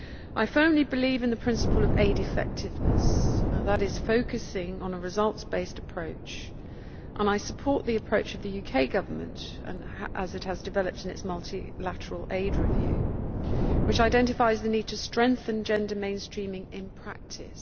I firmly believe in the principle of aid effectiveness that is, focusing on a results based approach and I support the approach of the UK Government as developed in its multilateral aid review, which identifies the need to strengthen gender mainstreaming in practice.